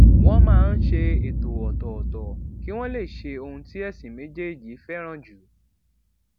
wón máa ń ṣe ètò òtòòtò kí wón lè ṣe ohun tí èsìn méjèèjì féràn jù